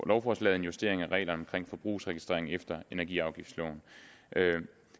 lovforslaget en justering af reglerne om forbrugsregistrering efter energiafgiftsloven